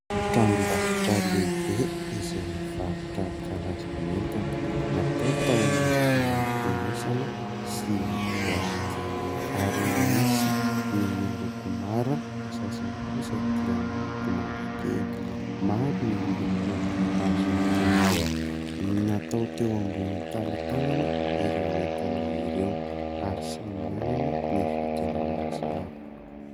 Tranombarotra lehibe izay mivarotra karazan'entana natao tao anatina fonosana sy boaty ary misy ny miloko mara, ny sasany kosa dia miloko mavokely. Maro ny loko azo tenenina. Natao teo ambony tanatanana ireo entana ireo ary samy manana ny vidiny ho azy avy.